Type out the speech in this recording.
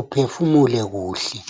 uphefumule kuhle.